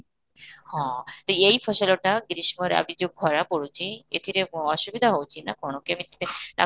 ହଁ, ତ ଏଇ ଫସଲଟା ଗ୍ରୀଷ୍ମରେ ଏବେ ଯଉ ଖରା ପଡୁଛି, ଏଥିରେ କ'ଣ ଅସୁବିଧା ହେଉଛି ନା କ'ଣ କେମିତି ତାକୁ